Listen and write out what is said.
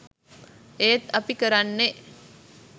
ඒත් අපි කරන්නේ